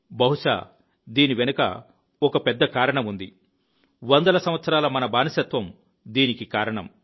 బహుశా దీని వెనుక ఒక పెద్ద కారణం ఉంది వందల సంవత్సరాల మన బానిసత్వం దీనికి కారణం